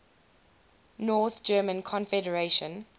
north german confederation